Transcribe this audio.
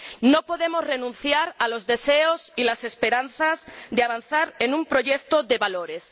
No podemos renunciar a los deseos y las esperanzas de avanzar en un proyecto de valores.